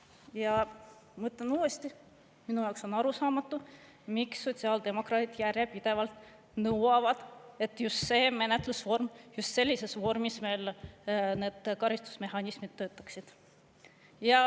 Ja ma ütlen uuesti: minu jaoks on arusaamatu, miks sotsiaaldemokraadid järjepidevalt nõuavad, et just see menetlusvorm, just sellises vormis meil need karistusmehhanismid töötaksid.